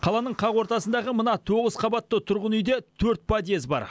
қаланың қақ ортасындағы мына тоғыз қабатты тұрғын үйде төрт подъезд бар